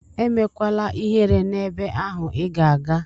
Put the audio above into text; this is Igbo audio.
Emekwala ihere n'ebe ahụ Ị ga-aga!